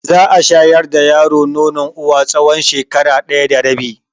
Za a shayar da yaro nonon uwa tsawon shekara ɗaya da rabi.